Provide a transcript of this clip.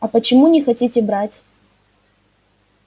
а почему не хотите брать